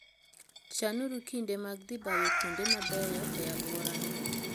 Chanuru kinde mag dhi bayo kuonde mabeyo e alworano.